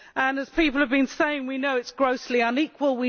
As people have been saying, we know it is grossly unequal